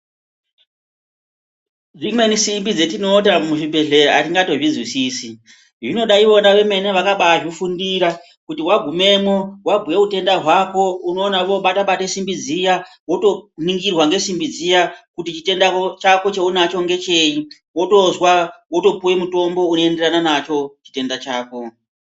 Dzimweni simbi dzetinoona muzvibhedhlera atingambozvizwisisi, zvinoda ivona vemene vakazvifundira kuti wagumemwo wabhuya utenda hwako unoona voobate bate simbi dziya wotoningirwa ngesimbi dziya kuti chitenda chaunacho ngechei wotozwa wotopuwa mutombo unoenderana nacho chitenda chako.